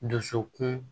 Dusukun